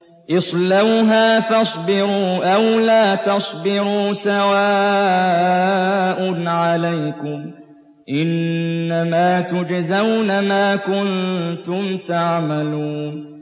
اصْلَوْهَا فَاصْبِرُوا أَوْ لَا تَصْبِرُوا سَوَاءٌ عَلَيْكُمْ ۖ إِنَّمَا تُجْزَوْنَ مَا كُنتُمْ تَعْمَلُونَ